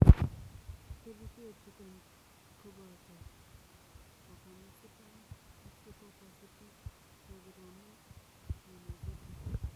Kerichee chutok kopotoo kapamazepine ,oxikapasipine, topiramet, klonazepam,